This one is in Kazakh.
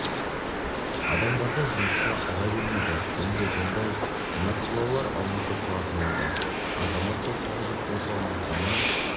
адамдарды жұмысқа ала бермейді енді ондай нақтылаулар алынып тасталатын болды азамат соттылығы жоқтығы туралы анықтама